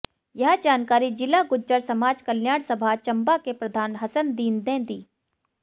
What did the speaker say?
यह जानकारी जिला गुज्जर समाज कल्याण सभा चंबा के प्रधान हसनदीन ने दी